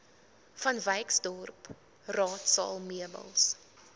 vanwyksdorp raadsaal meubels